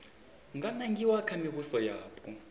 nga nangiwa kha mivhuso yapo